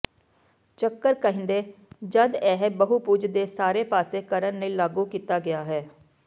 ਚੱਕਰ ਕਹਿੰਦੇ ਜਦ ਇਹ ਬਹੁਭੁਜ ਦੇ ਸਾਰੇ ਪਾਸੇ ਕਰਨ ਲਈ ਲਾਗੂ ਕੀਤਾ ਗਿਆ ਹੈ